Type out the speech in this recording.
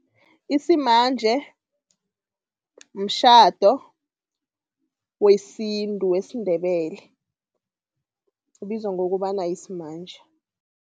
Isimanje, mtjhado wesintu wesiNdebele. Ubizwa ngokobana yisimanje.